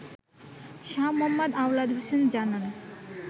শাহ্ মোহাম্মদ আওলাদ হোসেন জানান